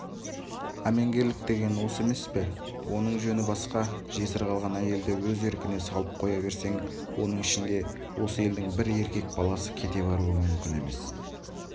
әменгерлік деген осы емес пе е оның жөні басқа жесір қалған әйелді өз еркіне салып қоя берсең оның ішінде осы елдің бір еркек баласы кете баруы мүмкін емес